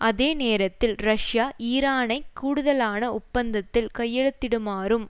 அதே நேரத்தில் ரஷ்யா ஈரானை கூடுதலான ஒப்பந்தத்தில் கையெழுத்திடுமாறும்